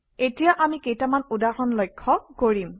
এতিয়া আমি কেইটামান উদাহৰণ লক্ষ্য কৰিম